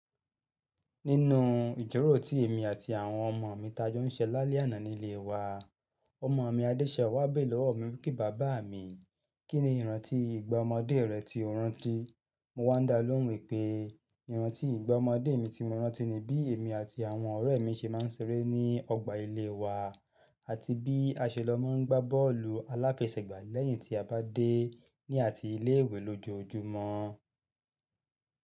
Nínú ijíròrò tí èmi àti àwọn ọmọ mi tajó ń ṣe lálẹ́ àná nílé wa, ọmọ mi Adéṣẹwà béèrè lọ́wọ́ mi wípé, "bàbá mi, kín ni ìrántí ìgbà ọmọdé rẹ tí o rán tí?" Mo wá dá lóhùn wípé, ìrántí ìgbà ọmọdé mi tí mo rán tí ni bí èmi àti àwọn ọ̀rẹ́ mi ṣe máa ń ṣeré ní ọgbà ilé wa àti bí aṣelọ́ máa ń gbá bọ́ọ̀lù aláfẹsẹ̀gbá lẹ́yìn tí a bá dé ní àti ilé ìwé lójoojúmọ́.